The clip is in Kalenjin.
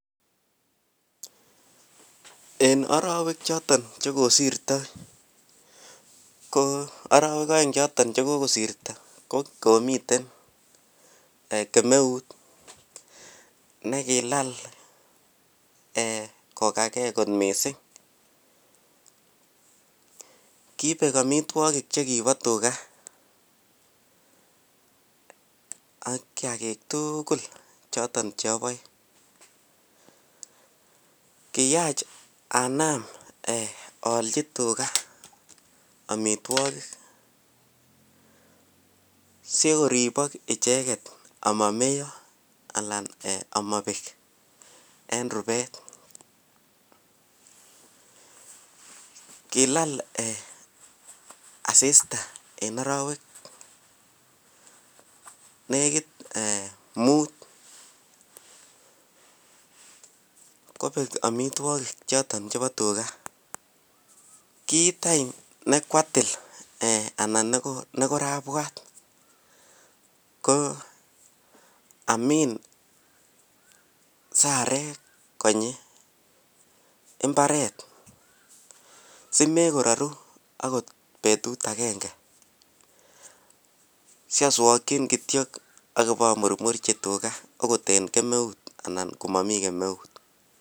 En arawek choton chekokosirto ko arewe choton aeng chekokosirto komiten Taek akomiten kemeut nekilal kogagei kot mising kibek amitwagik chekiba tuga Aki agetugul choton cheyabae kiyach anan ayalchi tuga amitwagik sikoribak icheket amameyo anan amabek en rubet kilal asista en arawek nekit mut kobek amitwagik choton chebo tuga kit nekwatil anan nekorabwat ko Amin sarek konyi imbaret simekoraru akot betut agenge siaswakin kityo Akiba amurmuchi tuga okot en kemeut akot komami kemeut